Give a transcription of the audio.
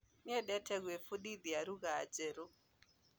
Nĩendete kũĩfundithia lũgha njeru